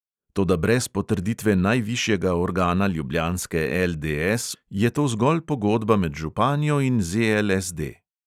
Toda brez potrditve najvišjega organa ljubljanske LDS je to zgolj pogodba med županjo in ZLSD.